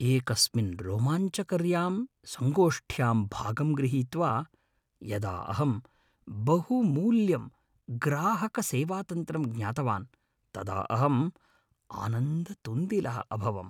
एकस्मिन् रोमाञ्चकर्यां संगोष्ठ्यां भागं गृहीत्वा, यदा अहं बहुमूल्यं ग्राहकसेवातन्त्रं ज्ञातवान् तदा अहं आनन्दतुन्दिलः अभवम्।